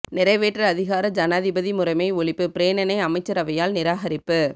நிறைவேற்று அதிகார ஜனாதிபதி முறைமை ஒழிப்பு பிரேரணை அமைச்சரவையால் நிராகரிப்பு